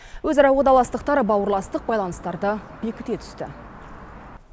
өзара уағдаластықтар бауырластық байланыстарды бекіте түсті